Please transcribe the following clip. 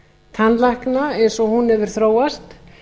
tannlækna eins og hún hefur þróast